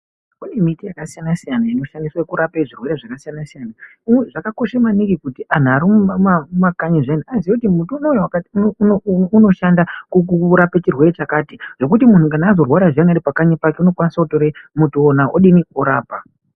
Kune miti yakasiyana-siyana inoshandiswa kurape zvirwere zvakasiyana-siyana. Zvakakosha maningi kuti antu arimumakanyi zviyani aziye kuti muti unowu wakati unoshanda kurape chirwere chakati. Zvokuti muntu kana azorwara zviyani aripakanyi pake unokwanisa kutora muti uwona odini, orapa.